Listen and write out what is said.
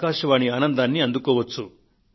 ఆకాశవాణి ఆనందాన్ని అందుకోవచ్చు